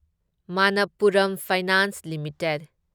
Manappuram finance limited